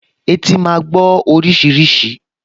Etí máa gbọ́ oríṣiríṣi